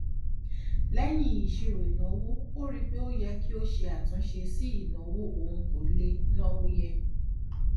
lẹyìn ìṣírò ìnáwó ó rí i pé ó yẹ kó ṣe àtúnṣe sí ìnáwó òun kó lè náwó yẹ